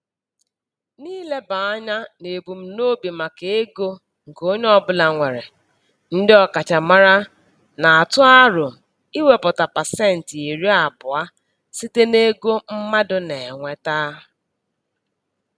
N'ileba anya n'ebumnobi maka ego nke onye ọbụla nwere, ndị ọkachamara na-atụ aro iwepụta pasentị iri abụọ site n'ego mmadụ na-enweta.